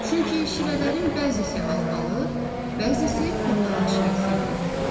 Çünki şirələrin bəzisi albalı, bəzisi portağal şirəsi idi.